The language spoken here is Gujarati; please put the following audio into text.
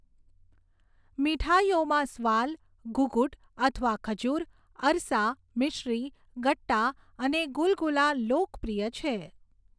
મીઠાઈઓમાં સ્વાલ, ઘુઘુટ અથવા ખજુર, અરસા, મિશ્રી, ગટ્ટા અને ગુલગુલા લોકપ્રિય છે.